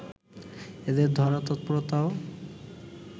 এদের ধরার তৎপরতাও